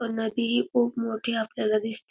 व नदीही खूप मोठी आपल्याला दिसते.